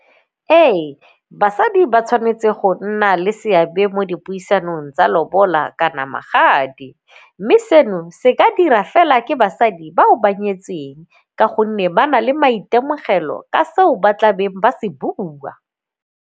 Ee, basadi ba tshwanetse go nna le seabe mo dipuisanong tsa lobola kana magadi mme seno se ka dira fela ke basadi bao ba nyetseng ka gonne ba na le maitemogelo ka seo ba tla beng ba se bua.